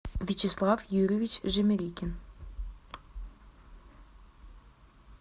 вячеслав юрьевич жемерикин